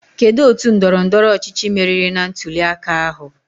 Kedụ otu ndọrọ ndọrọ ọchịchị meriri na ntuli aka ahụ?